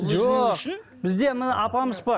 жоқ бізде міне апамыз бар